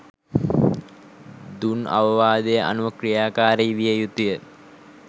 දුන් අවවාදය අනුව ක්‍රියාකාරී විය යුතු ය.